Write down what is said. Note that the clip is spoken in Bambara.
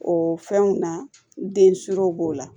O fɛnw na den suroro b'o la